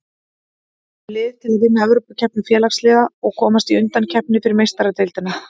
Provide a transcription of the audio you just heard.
Við höfum lið til að vinna Evrópukeppni Félagsliða og komast í undankeppni fyrir Meistaradeildina.